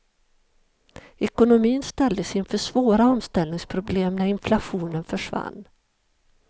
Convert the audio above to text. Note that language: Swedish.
Ekonomin ställdes inför svåra omställningsproblem när inflationen försvann.